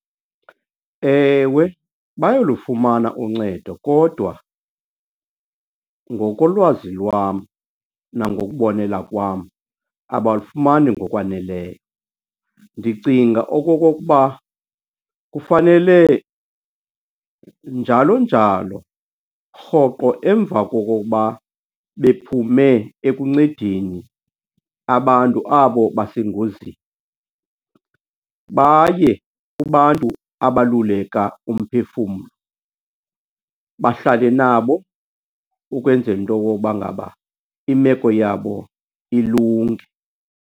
Ewe, bayalufumana uncedo kodwa ngokolwazi lwam nangokubonelela kwam, abalufumani ngokwaneleyo. Ndicinga okokokuba kufanele, njalo njalo, rhoqo emva kokokuba bephume ekuncedeni abantu abo basengozini, baye kubantu abaluleka umphefumlo bahlale nabo ukwenzela into yoba ngaba imeko yabo ilunge.